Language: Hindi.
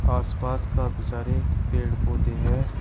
आसपास काफी सारे पेड़ पौधे हैं।